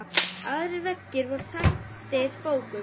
Aðrir veggir voru þaktir bókum.